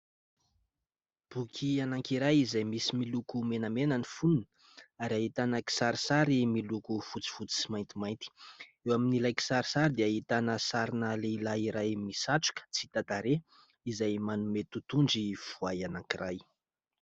Boky anankiray izay misy miloko menamena ny fonony ary ahitana kisarisary miloko fotsifotsy sy maintimainty. Eo amin'ilay kisarisary dia ahitana sarina lehilahy iray misatroka tsy hita tarehy izay manome totondry voay anankiray.